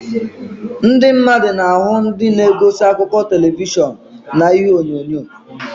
Ndị mmadụ na-ahụ ndị na-egosi akụkọ telivishọn na ihuenyo.